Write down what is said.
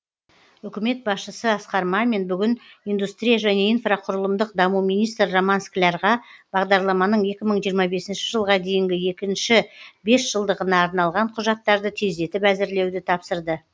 үкімет басшысы асқар мамин бүгін индустрия және инфрақұрылымдық даму министрі роман склярға бағдарламаның екі мың жиырма бесінші жылға дейінгі екінші бес жылдығына арналған құжаттарды тездетіп әзірлеуді тапсырды